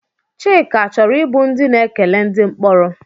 Chika chọrọ ịbụ ndị na-ekele ndị mkporo?